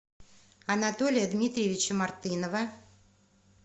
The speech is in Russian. анатолия дмитриевича мартынова